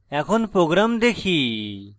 এখন program দেখি